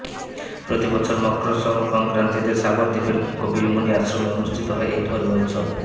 প্রতি বছর মক্রর সংক্রান্তিতে সাগর দ্বীপের কপিল মুনির আশ্রমে অনুষ্ঠিত হয় এই ধর্মীয় উৎসব